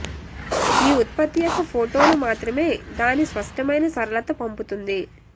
ఈ ఉత్పత్తి యొక్క ఫోటోలు మాత్రమే దాని స్పష్టమైన సరళత పంపుతుంది